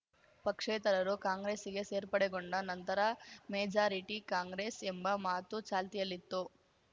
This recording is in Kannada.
ಪಕ್ಷೇತರರು ಕಾಂಗ್ರೆಸ್ಸಿಗೆ ಸೇರ್ಪಡೆಗೊಂಡ ನಂತರ ಮೆಜಾರಿಟಿ ಕಾಂಗ್ರೆಸ್‌ ಎಂಬ ಮಾತು ಚಾಲ್ತಿಯಲ್ಲಿತ್ತು